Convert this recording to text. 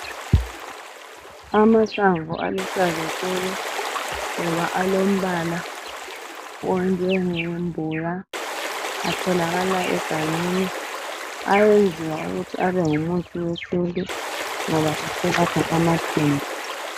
Amahlamvu aluhlaza tshoko ngoba alombala onjengembuya atholakala egangeni ayenziwa ukuthi abengumuthi wesintu ngoba ayelapha amazinyo.